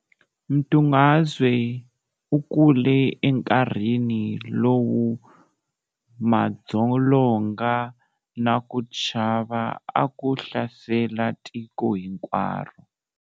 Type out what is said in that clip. Mdungazwe u kule enkarhini lowu madzolonga na ku chava a ku hlasele tiko hinkwaru.